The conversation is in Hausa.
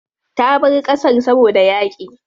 Ta bar ƙasar saboda yaƙi.